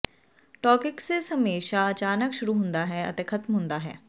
ਟੌਕਿਿਕਸਿਸ ਹਮੇਸ਼ਾ ਅਚਾਨਕ ਸ਼ੁਰੂ ਹੁੰਦਾ ਹੈ ਅਤੇ ਖ਼ਤਮ ਹੁੰਦਾ ਹੈ